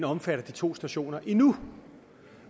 omfatter de to stationer endnu